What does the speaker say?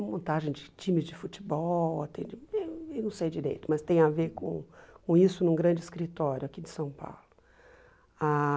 montagem de times de futebol, atende eh não sei direito, mas tem a ver com com isso num grande escritório aqui de São Paulo. Ah